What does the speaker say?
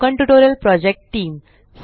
spoken tutorial project team